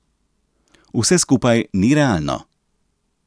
Vse skupaj ni realno.